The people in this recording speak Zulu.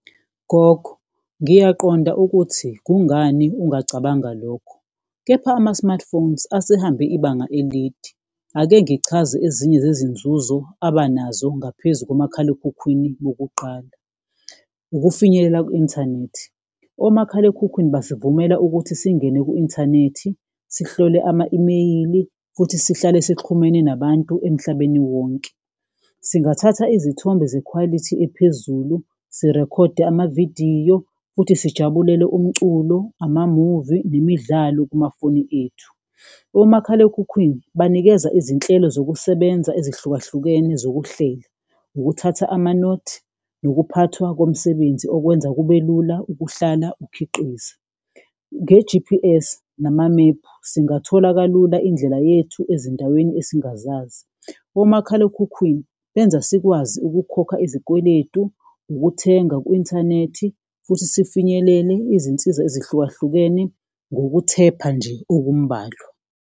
Gogo, ngiyaqonda ukuthi kungani ungacabanga lokhu kepha ama-smartphones asehambe ibanga elide, ake ngichaze ezinye zezinzuzo abanazo ngaphezu komakhalekhukhwini bokuqala. Ukufinyelela ku-inthanethi, omakhalekhukhwini basivumela ukuthi singene ku-inthanethi, sihlole ama-imeyili futhi sihlale sixhumene nabantu emhlabeni wonke, singathatha izithombe zekhwalithi ephezulu, sirekhode amavidiyo futhi sijabulele umculo, amamuvi nemidlalo kumafoni ethu. Omakhalekhukhwini banikeza izinhlelo zokusebenza ezihlukahlukene zokuhlela ukuthatha amanothi, nokuphathwa komsebenzi okwenza kube lula ukuhlala ukhiqize, nge-G_P_S namamephu singathola kalula indlela yethu ezindaweni esingazazi. Omakhalekhukhwini benza sikwazi ukukhokha izikweletu, ukuthenga ku-inthanethi futhi sifinyelele izinsiza ezihlukahlukene ngokuthepha nje okumbalwa.